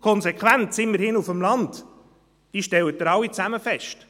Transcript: Die Konsequenz, immerhin auf dem Land, stellen Sie alle fest: